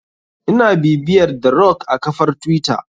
Ina bibiyar the rock a kafar twitter.